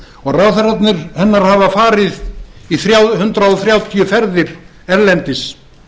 og ráðherrar hennar hafa farið í hundrað þrjátíu ferðir erlendis